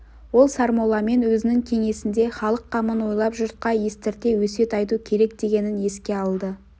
ол сармолламен өзінің кеңесінде халық қамын ойлап жұртқа естірте өсиет айту керек дегенін еске алды